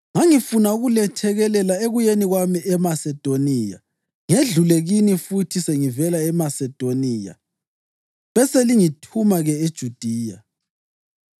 Ngangifuna ukulethekelela ekuyeni kwami eMasedoniya, ngedlule kini futhi sengivela eMasedoniya, beselingithuma-ke eJudiya.